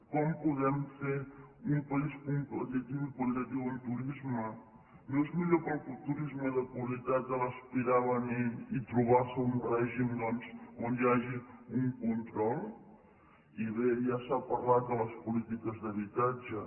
com podem fer un país competitiu i qualitatiu en turisme no és millor per al turisme de qualitat aspirar a venir i trobar se un règim doncs on hi hagi un control i bé ja s’ha parlat de les polítiques d’habitatge